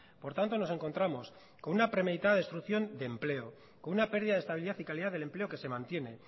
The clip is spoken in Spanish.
por tanto nos encontramos con una prometida destrucción de empleo con una pérdida de estabilidad y calidad de empleo que se mantiene